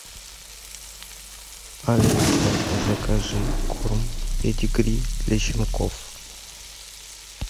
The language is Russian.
алиса закажи корм педигри для щенков